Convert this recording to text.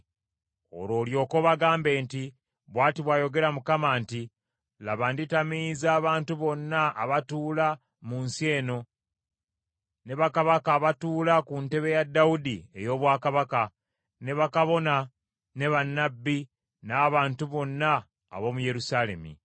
Olwo olyoke obagambe nti, ‘Bw’ati bw’ayogera Mukama nti, Laba nditamiiza abantu bonna abatuula mu nsi eno, ne bakabaka abatuula ku ntebe ya Dawudi ey’obwakabaka, ne bakabona, ne bannabbi n’abantu bonna ab’omu Yerusaalemi.